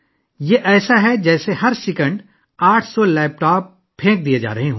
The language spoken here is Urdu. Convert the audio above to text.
یہ ایسا ہے جیسے ہر ایک سیکنڈ میں 800 لیپ ٹاپ پھینکے جا رہے ہیں